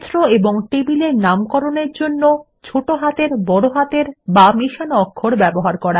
ক্ষেত্র এবং টেবিলের নামকরণের জন্য ছোট হাতের বড় হাতের বা মেশানো অক্ষর ব্যবহার